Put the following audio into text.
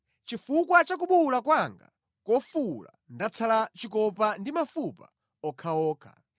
Chifukwa cha kubuwula kwanga kofuwula ndatsala chikopa ndi mafupa okhaokha.